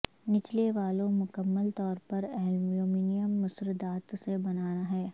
نچلے والو مکمل طور پر ایلومینیم مصر دات سے بنا ہے